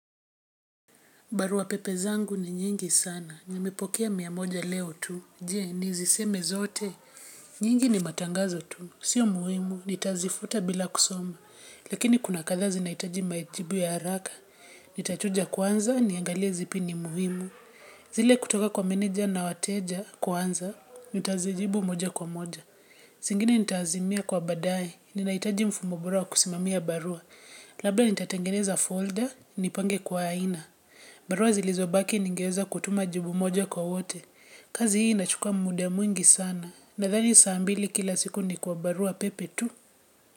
Barua pepe zangu ni nyingi sana, nimipokea mia moja leo tu, je ni ziseme zote, nyingi ni matangazo tu, sio muhimu, nitazifuta bila kusoma, lakini kuna kathaa zinaitaji majibu ya haraka, nitachuja kwanza, niangalia zipi ni muhimu, zile kutoka kwa meneja na wateja kwanza, nitazijibu moja kwa moja. Singine nitaazimia kwa badae, ninaitaji mfumo bora wa kusimamia barua. Labda nitatengeneza folder, nipange kwa aina. Barua zilizobaki ningeweza kutuma jibu moja kwa wote. Kazi hii nachukua muda mwingi sana. Nathani saa mbili kila siku ni kwa barua pepe tu.